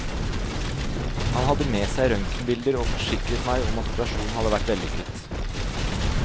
Han hadde med seg røntgenbilder og forsikret meg om at operasjonen hadde vært vellykket.